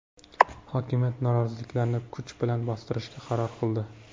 Hokimiyat noroziliklarni kuch bilan bostirishga qaror qildi.